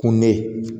Kun bɛ